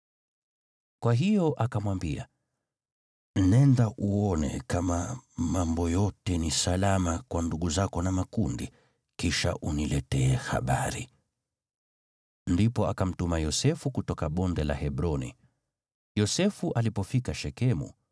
Kwa hiyo akamwambia, “Nenda uone kama mambo yote ni salama kwa ndugu zako na makundi, kisha uniletee habari.” Ndipo akamtuma Yosefu kutoka Bonde la Hebroni. Yosefu alipofika Shekemu,